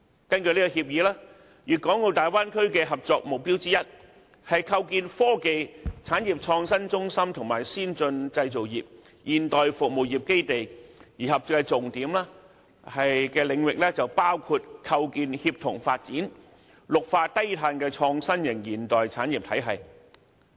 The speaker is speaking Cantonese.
根據這協議，粵港澳大灣區的合作目標之一，是構建科技、產業創新中心和先進製造業、現代服務業基地；而合作重點的領域包括構建綠化低碳的創新型現代產業體系。